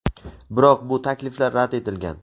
biroq bu takliflar rad etilgan.